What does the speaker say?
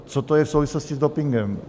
Co to je v souvislosti s dopingem?